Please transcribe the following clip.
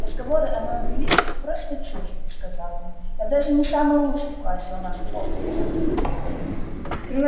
разговоры о моем величии просто чушь сказал он я даже не самый лучший в классе у нас в хогвартсе